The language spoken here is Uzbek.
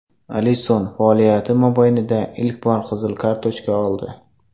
Alisson faoliyati mobaynida ilk bor qizil kartochka oldi.